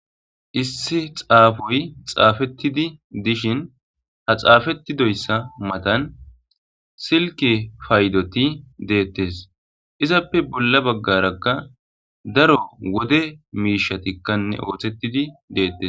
issi xaafoy xaafettidi dishin ha xaafetidoyssa matan silke paydoti deettes izappe bolla baggarakka daro wode miishatikkanne ooththettidi deettes